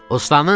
Ustam!